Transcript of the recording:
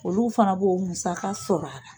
Olu fana b'u musaka sɔrɔ a la.